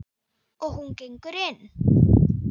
Og hún gengur inn.